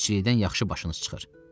Dənizçilikdən yaxşı başınız çıxır.